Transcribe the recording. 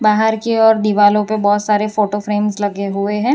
बाहर की ओर दिवालों पे बहुत सारे फोटो फ्रेम्स लगे हुए हैं।